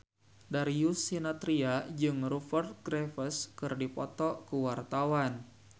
Darius Sinathrya jeung Rupert Graves keur dipoto ku wartawan